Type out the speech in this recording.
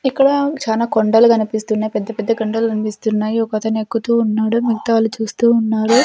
ఇక్కడ చానా కొండలు కనిపిస్తున్నాయి పెద్ద పెద్ద కొండలు కనిపిస్తున్నాయి ఒక అతను ఎక్కుతూ ఉన్నాడు మిగతా వాళ్ళు చూస్తూ ఉన్నారు.